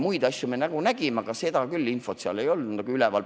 Muid asju me nägime, aga seda infot seal küll üleval ei olnud.